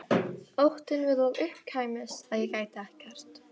Óttinn við að upp kæmist að ég gæti ekkert.